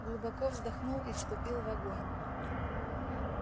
глубоко вздохнул и вступил в огонь